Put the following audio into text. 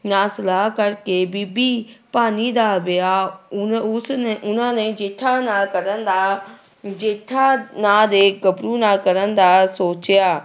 ਨਾਲ ਸਲਾਹ ਕਰਕੇ ਬੀਬੀ ਭਾਨੀ ਦਾ ਵਿਆਹ ਉਨ ਉਸਨੇ ਉਹਨਾਂ ਨੇ ਜੇਠਾ ਨਾਲ ਕਰਨ ਦਾ ਜੇਠਾ ਨਾਂ ਦੇ ਗੱਭਰੂ ਨਾਲ ਕਰਨ ਦਾ ਸੋਚਿਆ।